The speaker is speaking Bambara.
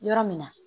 Yɔrɔ min na